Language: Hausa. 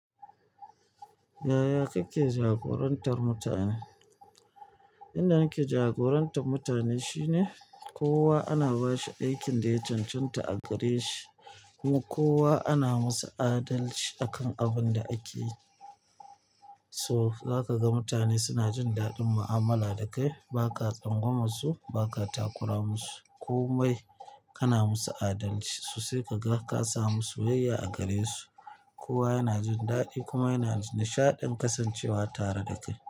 Yaya kake jagorantar mutane? Inda nake jagorantar mutane shine kowa ana bashi aikin da ya cancanta a gare shi kuma kowa ana masa adalci akan abun da ake yi. So za ka ga mutane suna jin daɗin mu'amala da kai. Ba ka tsangwamar su, ba ka takura musu, komai kana musu adalci. So sai ka ga ka samu soyayya a gare su. Kowa yana jin daɗi kuma yana nishaɗin kasancewa tare da kai.